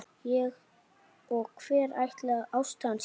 Og hver ætli ástæðan sé?